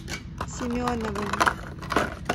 семеновым